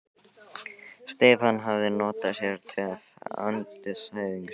Stefán hafði notað sér töf andstæðings síns skynsamlega.